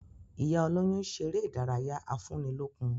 Ìyá olóyún ń ṣeré ìdárayá afúnilókun